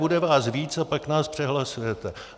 Bude vás víc a pak nás přehlasujete.